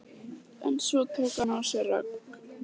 En svo tók hann á sig rögg.